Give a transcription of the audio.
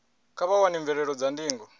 kha vha wane mvelelo dza ndingo